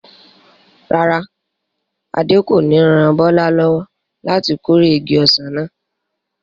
Rárá, Adé kò ní ran Bọ́lá lọ́wọ́ láti kórè igi ọsàn náà.